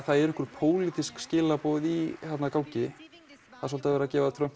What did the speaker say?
það eru pólitísk skilaboð í gangi það er svolítið verið að gefa Trump